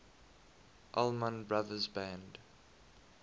allman brothers band